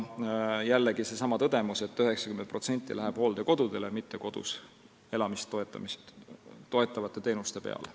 Jällegi seesama tõdemus, et 90% sellest läheb hooldekodudele, mitte kodus elamist toetavate teenuste peale.